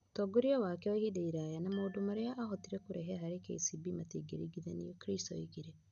Ũtongoria wake wa ihinda iraya na maũndũ marĩa aahotire kũrehe harĩ KCB matingĩringithanio Kris oigire.